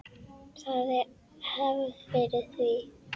Það er hefð fyrir því.